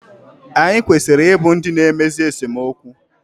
Anyị kwesịrị I bụ ndị na-emezi esemokwu